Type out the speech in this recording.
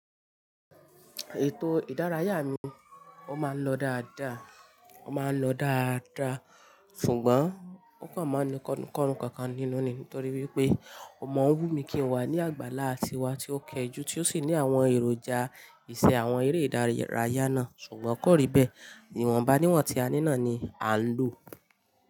Ètò ìdárayá mi, ó máa ń lọ dáadáa, ó máa ń lọ dáadáa, ṣùgbọ́n ó kàn máa ń ní kọ́lo kankan nínú ni nítorí wípé o mọ́ wu mi kí n wà ní àgbàlá tiwa tí ó kẹjù tí ó sì ní àwọn èròjà ìṣe àwọn eré ìdárayá náà ṣùgbọ́n kò rí bẹ́ẹ̀. Ìwọ̀nba níwọ̀n tí a ní náà ni à ń lò.